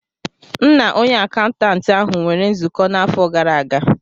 M na onye akaụntantị ahụ nwere nzukọ n'afọ gara aga